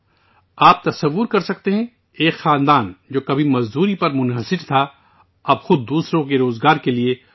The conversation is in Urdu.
جیسا کہ آپ تصور کر سکتے ہیں، ایک خاندان، جو کبھی مزدوری پر منحصر تھا، اب دوسروں کو روزگار دے رہا ہے